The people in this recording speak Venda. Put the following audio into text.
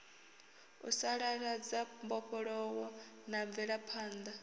u sasaladza mbofholowo na mvelaphanḓa